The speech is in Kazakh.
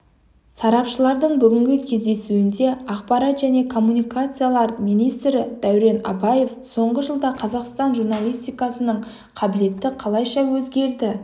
сарапшылардың бүгінгі кездесуінде ақпарат және коммуникациялар министрі дәурен абаев соңғы жылда қазақстан журналистикасының келбеті қалайша өзгерді